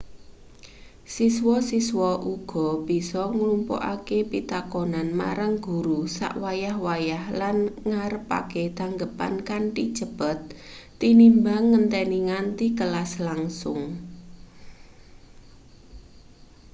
siswa-siswa uga bisa nglumpukke pitakonan marang guru sak wayah-wayah lan ngarepake tanggepan kanthi cepet tinimbang ngenteni nganti kelas langsung